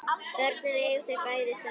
Börnin eiga þau bæði saman